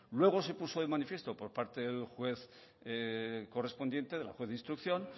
luego se puso de manifiesto por parte del juez correspondiente de la juez de instrucción